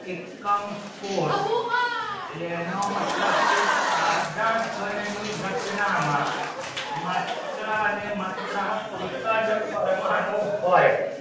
એકક્મ કોટ એનો મતલબ છે સાંધા ઘણ ની રચના માં માત્રા ને માત્રા એકચ કરવાનું હોય